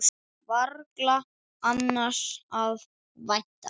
Varla annars að vænta.